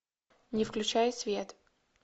не включай свет